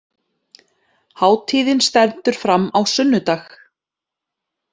Hátíðin stendur fram á sunnudag